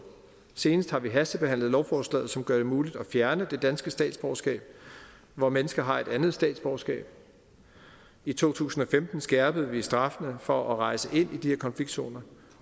senest har vi hastebehandlet lovforslaget som gør det muligt at fjerne det danske statsborgerskab når mennesker har et andet statsborgerskab i to tusind og femten skærpede vi straffene for at rejse ind i de her konfliktzoner